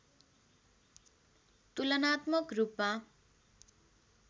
तुलनात्मक रूपमा